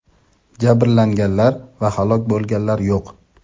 Jabrlanganlar va halok bo‘lganlar yo‘q.